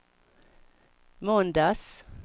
måndags